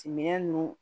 Timinɛn do